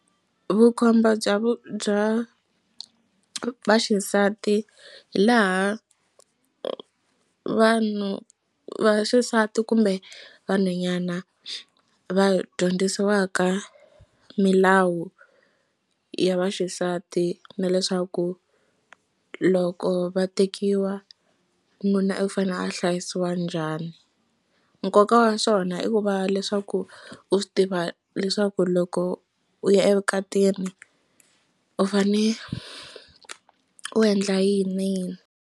Vukhomba bya vu bya vaxisati hi laha vanhu vaxisati kumbe vanhwanyana va dyondzisiwaka milawu ya vaxisati na leswaku loko va tekiwa nuna u fanele a hlayisiwa njhani. Nkoka wa swona i ku va leswaku u swi tiva leswaku loko u ya evukatini u fane u endla yini yini.